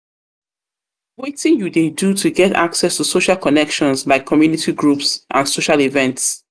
um you dey do to get access to social connections like community groups and social events?